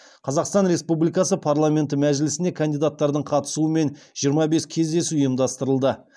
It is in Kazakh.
қазақстан республикасы парламенті мәжілісіне кандидаттардың қатысуымен жиырма бес кездесу ұйымдастырылды